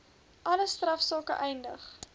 alle strafsake eindig